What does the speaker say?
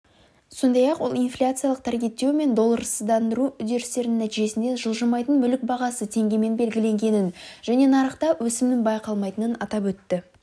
сондай-ақ ол инфляциялық таргеттеу мен долларсыздандыру үдерістерінің нәтижесінде жылжымайтын мүлік бағасы теңгемен белгіленгенін және нарықта өсімнің байқалмайтынын атап өтті